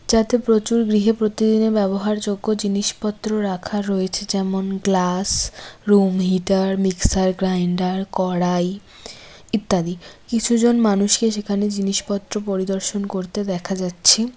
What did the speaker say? যাতে প্রচুর গৃহে প্রতিদিনের ব্যবহারযোগ্য জিনিসপত্র রাখা রয়েছে যেমন glass room heater mixer grinder কড়াই ইত্যাদি কিছুজন মানুষকে সেখানে জিনিসপত্র পরিদর্শন করতে দেখা যাচ্ছে।